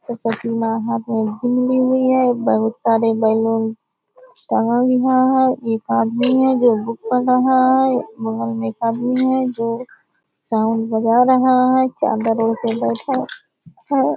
सरसवती मां हाथ में ली हुई हैं। बहुत सारे बलून टंगा हुआ है। एक आदमी है जो बुक पढ़ रहा है। बगल में एक आदमी है जो साउंड बजा रहा है चादर ओढ़ के बैठा है।